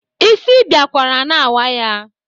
Isi biakwara na-awa ya.